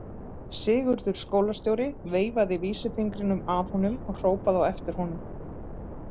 Sigurður skólastjóri veifaði vísisfingrinum að honum og hrópaði á eftir honum.